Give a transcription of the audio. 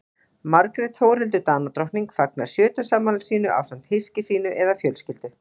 Margrét Þórhildur Danadrottning fagnar sjötugsafmæli sínu ásamt hyski sínu eða fjölskyldu.